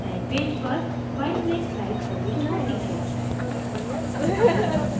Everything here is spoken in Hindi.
नए पेज पर file में slide प्रविष्ट होती है